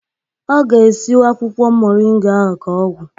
Ọ ga-esi akwụkwọ moringa ahụ ka ọgwụ.